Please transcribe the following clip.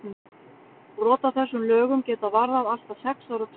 Brot á þessum lögum geta varðað allt að sex ára tukthúsvist.